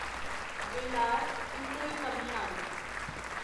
वेलार उत्तरी तमिलनाडु